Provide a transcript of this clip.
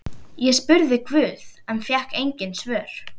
Ég spurði guð en fékk engin svör.